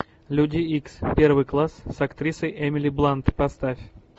люди икс первый класс с актрисой эмили блант поставь